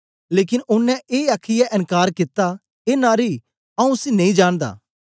लेकन ओनें ए आखीयै एन्कार कित्ता ए नारी आऊँ उसी नेई जानदा